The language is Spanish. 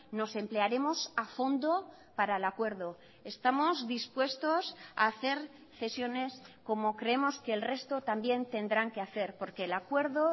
nos emplearemos a fondo para el acuerdo estamos dispuestos a hacer cesiones como creemos que el resto también tendrán que hacer porque el acuerdo